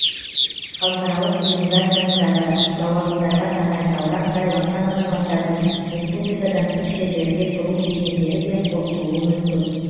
халықаралық ұйымдар жанындағы лауазымдарға тағайындалған сайланған азаматтардың республикадан тыс жерлерде тұру кезеңдері де қосылуы мүмкін